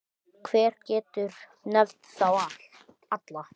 Hver getur nefnt þá alla?